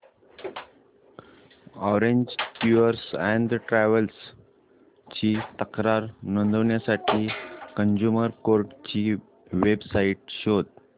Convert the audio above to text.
orange tours and travels ची तक्रार नोंदवण्यासाठी कंझ्युमर कोर्ट ची वेब साइट शोध